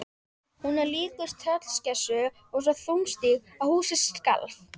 Hún er líkust tröllskessu og svo þungstíg að húsið skalf.